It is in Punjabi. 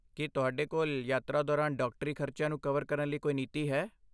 ਕੀ ਤੁਹਾਡੇ ਕੋਲ ਯਾਤਰਾ ਦੌਰਾਨ ਡਾਕਟਰੀ ਖਰਚਿਆਂ ਨੂੰ ਕਵਰ ਕਰਨ ਲਈ ਕੋਈ ਨੀਤੀ ਹੈ?